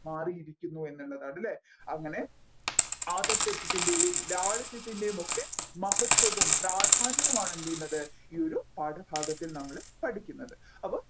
മാറിയിരിക്കുന്നു എന്നുള്ളതാണ് അല്ലെ അങ്ങനെ ആദർശത്തിന്റെയും ലാളിത്യത്തിന്റെയും ഒക്കെ മഹത്വവും പ്രാധാന്യവുമാണ് എന്ത് ചെയ്യുന്നത് ഈ ഒരു പാഠഭാഗത്തിൽ നമ്മൾ പഠിക്കുന്നത്